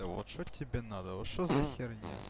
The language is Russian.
вот тебе надо вот что за х